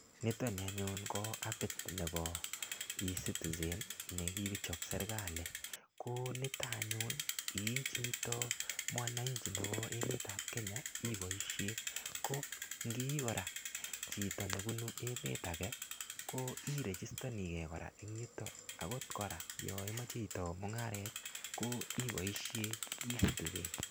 Nitani anyun ko apit nepo Ecitizen ne kichop serkali. Ko nito anyun ye i chi (cw)mwananchi nepo emet ap Kenya ipoishe. Ngo i kora chito nepunu emet age ko irejistanige kora eng' yutok. Agot kora ya imache itau mung'aret ko ipoishe ECitizen.